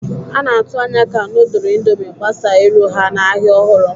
A na-atụ anya ka nudul Indomie gbasaa iru ha n'ahịa ọhụrụ.